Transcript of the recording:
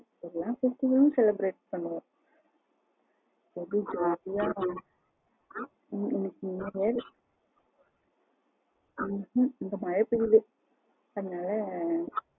எல்லா festival லும் celebrate பண்ணுவோம் ரெம்ப jolly ஆ இங்க மழ பெய்யுது அதனால